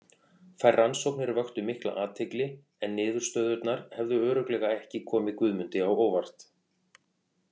Þær rannsóknir vöktu mikla athygli en niðurstöðurnar hefðu örugglega ekki komið Guðmundi á óvart.